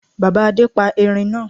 Bàbá Adé pa Erin náa